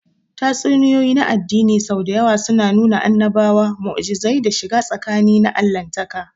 Tatsuniyoyi na addini sau da yawa suna nuna annabawa, mu'ujizai, da shiga tsakani na Allahntaka.